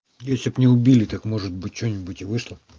если б не убили так может быть что нибудь и вышло